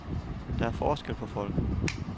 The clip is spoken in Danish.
Der er forskel på folk.